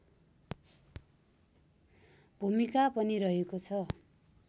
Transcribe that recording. भुमिका पनि रहेको छ